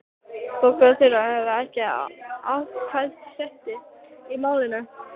Bogga og Þura höfðu ekki atkvæðisrétt í málinu.